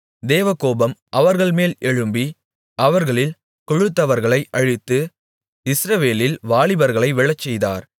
தேவகோபம் அவர்கள்மேல் எழும்பி அவர்களில் கொழுத்தவர்களை அழித்து இஸ்ரவேலில் வாலிபர்களை விழச்செய்தார்